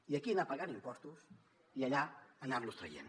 i aquí anar pagant impostos i allà anar los traient